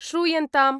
श्रूयन्ताम्